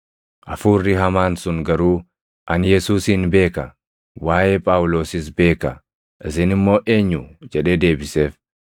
Hafuurri hamaan sun garuu, “Ani Yesuusin beeka; waaʼee Phaawulosis beeka; isin immoo eenyu?” jedhee deebiseef.